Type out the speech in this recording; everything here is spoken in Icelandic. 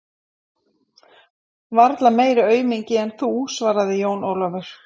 Varla meiri aumingi en þú, svaraði Jón Ólafur.